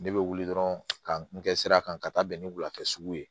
Ne bɛ wuli dɔrɔn ka n kɛ sira kan ka taa bɛn ni wulafɛ sugu ye